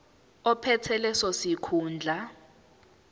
ophethe leso sikhundla